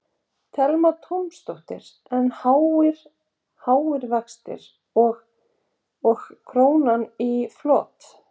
Telma Tómasdóttir: En háir, háir vextir og, og krónuna á flot?